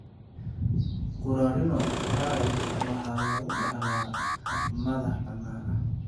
Currarino triad waxaa lagu dhaxlaa hab madax-bannaani ah.